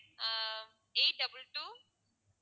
ah eight double two